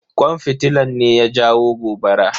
Kwan fitilan ne ya jawo gobara.